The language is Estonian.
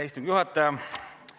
Istungi juhataja!